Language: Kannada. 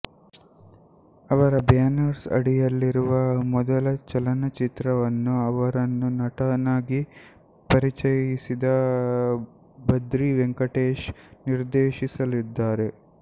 ಅವರ ಬ್ಯಾನರ್ನ ಅಡಿಯಲ್ಲಿರುವ ಮೊದಲ ಚಲನಚಿತ್ರವನ್ನು ಅವರನ್ನು ನಟನಾಗಿ ಪರಿಚಯಿಸಿದ ಬದ್ರಿ ವೆಂಕಟೇಶ್ ನಿರ್ದೇಶಿಸಲಿದ್ದಾರೆ